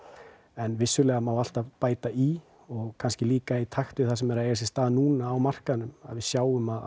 en vissulega má alltaf bæta í kannski líka í takt við það sem er að eiga sér stað núna á markaðnum við sjáum að